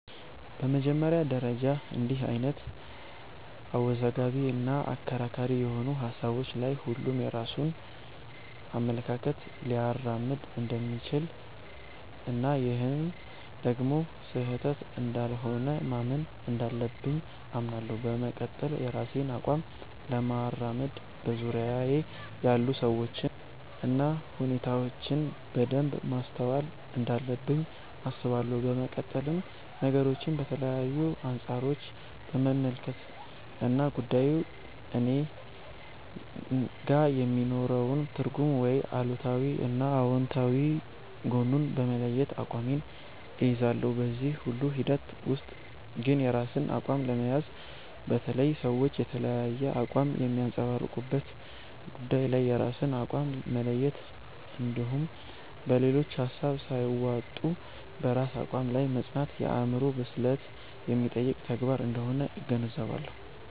በመጀመሪያ ደረጃ እንድህ አይነት አወዛጋቢ እና አከራካሪ የሆኑ ሀሳቦች ላይ ሁሉም የራሱን አመለካከት ሊያራምድ እንደሚችል እና ይህም ደግሞ ስህተት እንዳልሆነ ማመን እንዳለብኝ አምናለሁ። በመቀጠል የራሴን አቋም ለማራመድ በዙርያየ ያሉ ሰዎችን እና ሁኔታዎችን በደንብ ማስተዋል እንዳለብኝ አስባለሁ። በመቀጠልም ነገሮችን ከተለያዩ አንፃሮች በመመልከት እና ጉዳዩ እኔጋ የሚኖረውን ትርጉም ወይም አሉታዊ እና አውንታዊ ጎኑን በመለየት አቋሜን እይዛለሁ። በዚህ ሁሉ ሂደት ውስጥ ግን የራስን አቋም ለመያዝ፣ በተለይ ሰዎች የተለያየ አቋም በሚያንፀባርቁበት ጉዳይ ላይ የራስን አቋም መለየት እንድሁም በሌሎች ሀሳብ ሳይዋጡ በራስ አቋም ላይ መፅናት የአዕምሮ ብስለት የሚጠይቅ ተግባር አንደሆነ እገነዘባለሁ።